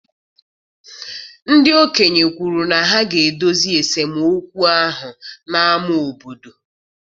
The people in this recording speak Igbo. Ndị okenye kwuru na ha ga-edozi esemokwu ahụ n'ámá obodo.